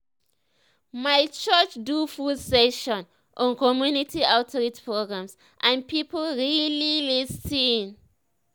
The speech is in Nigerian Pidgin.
my church do full session on community outreach programs and people really lis ten.